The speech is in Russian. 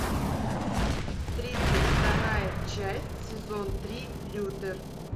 тридцать вторая часть сезон три лютер